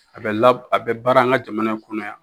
A bɛ a bɛ la a bɛ baara an ka jamana in kɔnɔ yan